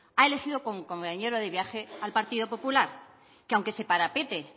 ha elegido como compañero de viaje al partido popular que aunque se parapete